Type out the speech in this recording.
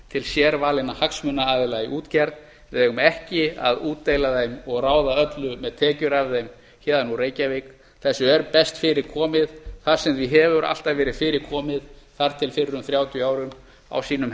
til sérvalinna hagsmunaaðila í útgerð við eigum ekki að útdeila þeim og ráða öllum með tekjur af þeim héðan úr reykjavík þessu er best fyrir komið þar sem því hefur alltaf verið fyrir komið þar til fyrir um þrjátíu árum á sínum